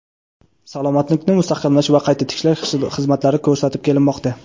salomatlikni mustahkamlash va qayta tiklash xizmatlari ko‘rsatib kelinmoqda.